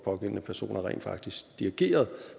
pågældende personer rent faktisk dirigerede